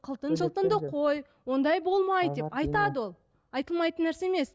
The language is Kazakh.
қылтың жылтыңды қой ондай болмайды деп айтады ол айтылмайтын нәрсе емес